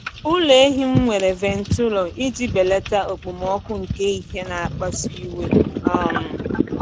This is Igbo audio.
Ụlọ ehi m nwere ventụlọ iji belata okpomọkụ nke ehihie na-akpasu iwe. um